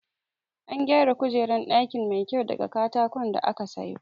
An gyara kujeran ɗinki mai kyau daga katakon da aka sayo